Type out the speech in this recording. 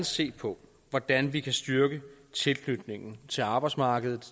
se på hvordan vi kan styrke tilknytningen til arbejdsmarkedet